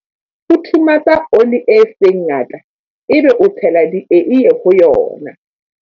Futhumatsa oli e seng ngata ebe o tshela dieie ho yona.